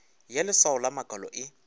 ya leswao la makalo e